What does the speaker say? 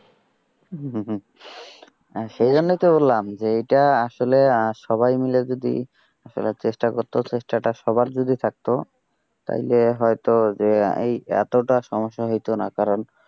উহ উহ সেই জন্যই তো বললাম যে এইটা আসলে সবাই মিলে যদি আসলে চেষ্টা করতো চেষ্টা টা সবার যদি থাকতো তাইলে হয়তো যে এই এতটা সমস্যা হইতো না। কারণ,